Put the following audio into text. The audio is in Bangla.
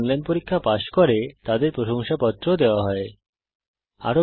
যারা অনলাইন পরীক্ষা পাস করে তাদের প্রশংসাপত্র সার্টিফিকেট ও দেওয়া হয়